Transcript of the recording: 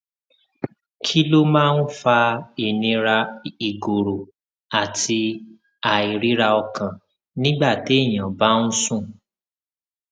kí ló máa ń fa ìnira ìgòrò àti àìríraọkàn nígbà téèyàn bá ń sùn